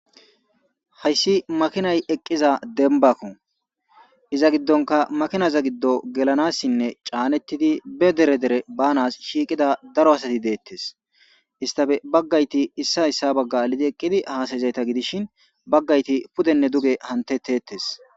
hayssi makinay eqqiza denbako iza giddonka makinaza giddo gelanassinne caanettidi be dere dere baanas shiiqida daro asati deettes istafe baggayti issa hyssa bagga alidi eqqidi haasayizayta gidishin baggayti pudenne duge hantetettes